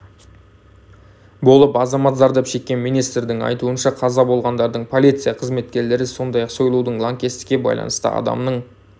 болып азамат зардап шеккен министрдің айтуынша қаза болғандардың полиция қызметкерлері сондай-ақ сойлу лаңкестікке байланысты адамның